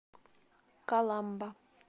каламба